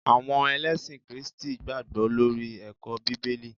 àwọn elesin kristi gbagbo lori eko bibeli